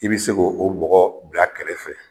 I bi se k'o o bɔgɔ bila kɛrɛfɛ